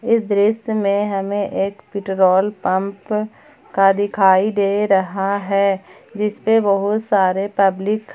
इस दृश्य में हमें एक पेट्रोल पंप का दिखाई दे रहा है जिस पे बहुत सारे पब्लिक खड़े--